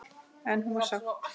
En hún var sátt.